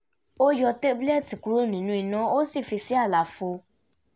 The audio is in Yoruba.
ó yọ tábúlẹ́ẹ̀tì kúrò ní iná ó sì fi sí àlàfo